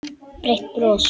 Breitt bros.